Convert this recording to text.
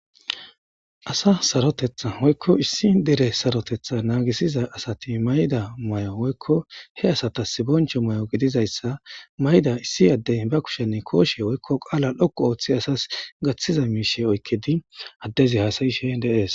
Asa sarotteta woyikko issi dere sarotteta naggisiza asati mayida mayo woyikko he asatas bonchcho mayo giddizayssa mayidda issi adde bakushshen koshshe woyikko qalla dhdhoqu oththidi asas gaththiza mishsha oyikidi adizze hasayishshen de'es.